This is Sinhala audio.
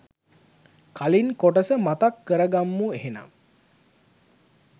කලින් කොටස මතක් කරගම්මු එහෙනම්.